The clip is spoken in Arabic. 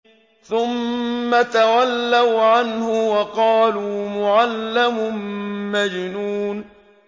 ثُمَّ تَوَلَّوْا عَنْهُ وَقَالُوا مُعَلَّمٌ مَّجْنُونٌ